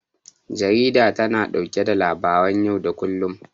Jarida tana ɗauke da labaran yau da kullum.